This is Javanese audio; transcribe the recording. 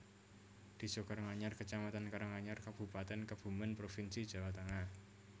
Désa Karanganyar kecamatan Karanganyar Kabupatèn Kebumèn provinsi Jawa Tengah